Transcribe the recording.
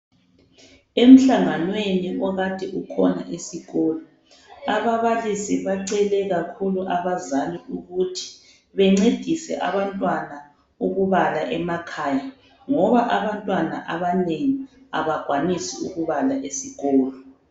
Emhlanganweni okade ukhona esikolo, ababalisi bacele kakhulu abazali ukuthi bencedise abantwana ukubala emakhaya ngoba abantwana abanengi abakwanisi ukubala esikolo.